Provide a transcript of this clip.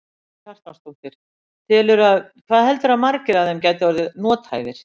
Karen Kjartansdóttir: Telurðu að, hvað heldurðu að margir af þeim geti orðið nothæfir?